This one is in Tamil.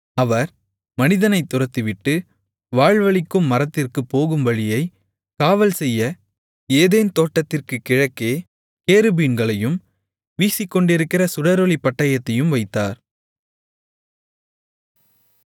அவர் மனிதனைத் துரத்திவிட்டு வாழ்வளிக்கும் மரத்திற்குப் போகும் வழியைக் காவல்செய்ய ஏதேன் தோட்டத்திற்குக் கிழக்கே கேருபீன்களையும் வீசிக்கொண்டிருக்கிற சுடரொளிப் பட்டயத்தையும் வைத்தார்